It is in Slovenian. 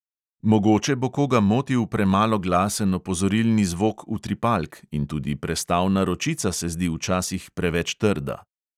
Mogoče bo koga motil premalo glasen opozorilni zvok utripalk in tudi prestavna ročica se zdi včasih preveč trda.